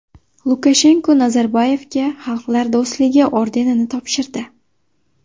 Lukashenko Nazarboyevga Xalqlar do‘stligi ordenini topshirdi.